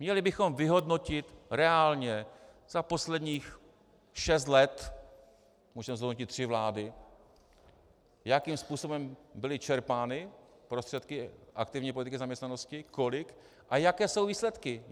Měli bychom vyhodnotit reálně za posledních šest let, můžeme zhodnotit tři vlády, jakým způsobem byly čerpány prostředky aktivní politiky zaměstnanosti, kolik a jaké jsou výsledky.